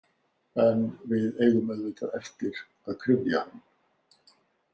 En við eigum auðvitað eftir að kryfja hann.